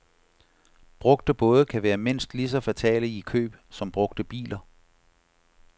Brugte både kan være mindst lige så fatale i køb som brugte biler.